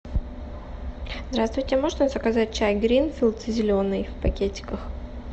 здравствуйте можно заказать чай гринфилд зеленый в пакетиках